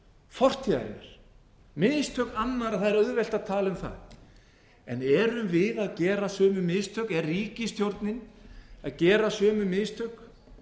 fortíðarinnar mistök annarra það er auðvelt að tala um það en erum við að gera sömu mistök er ríkisstjórnin að gera sömu mistök